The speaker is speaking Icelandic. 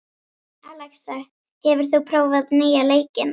Alexa, hefur þú prófað nýja leikinn?